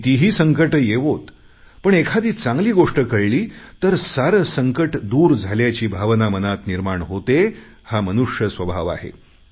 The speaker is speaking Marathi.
कितीही संकटे येवोत पण एखादी चांगली गोष्ट कळली तर सारं संकट दूर झाल्याची भावना मनात निर्माण होते हा मनुष्य स्वभाव आहे